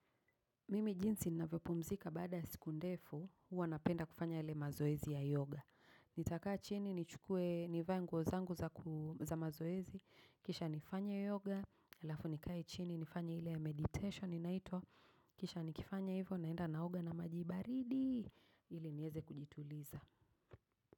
Mimi jinsi navyopumzika baada ya siku ndefu, huwa napenda kufanya yale mazoezi ya yoga. Nitakaa chini, nichukue nivae nguo zangu za mazoezi, kisha nifanye yoga, alafu nikae chini, nifanye ile meditation inaitwa, kisha nikifanya hivo, naenda naoga na majibaridi, ili nieze kujituliza.